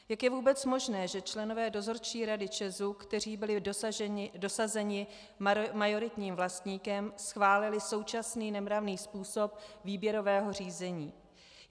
Jak je vůbec možné, že členové dozorčí rady ČEZu, kteří byli dosazeni majoritním vlastníkem, schválili současný nemravný způsob výběrového řízení?